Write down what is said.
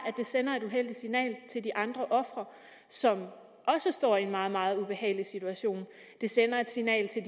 det sender et uheldigt signal til de andre ofre som også står i en meget meget ubehagelig situation og det sender et signal til